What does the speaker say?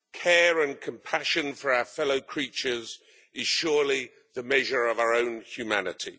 Care and compassion for our fellow creatures is surely the measure of our own humanity.